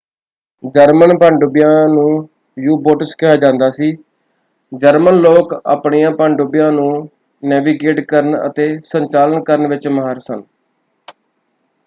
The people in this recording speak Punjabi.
ਜਰਮਨ ਪਣਡੁੱਬੀਆਂ ਨੂੰ ਯੂ-ਬੋਟਸ ਕਿਹਾ ਜਾਂਦਾ ਸੀ। ਜਰਮਨ ਲੋਕ ਆਪਣੀਆਂ ਪਣਡੁੱਬੀਆਂ ਨੂੰ ਨੈਵੀਗੇਟ ਕਰਨ ਅਤੇ ਸੰਚਾਲਨ ਕਰਨ ਵਿੱਚ ਮਾਹਰ ਸਨ।